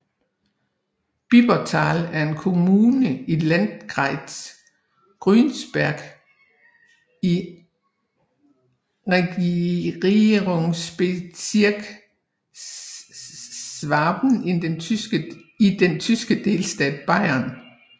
Bibertal er en kommune i Landkreis Günzburg i Regierungsbezirk Schwaben i den tyske delstat Bayern